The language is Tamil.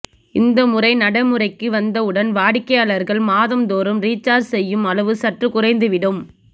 இந்த முறை நடைமுறைக்கு வந்த உடன் வாடிக்கையாளர்கள் மாதம் தோறும் ரீசார்ஜ் செய்யும் அளவு சற்று குறைந்துவிடும்